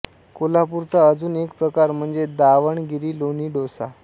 कोल्हापूरचा अजून एक प्रकार म्हणजे दावणगिरी लोणी डोसा